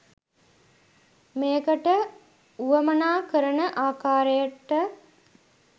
මේකට වුවමනා කරන ආකාරයට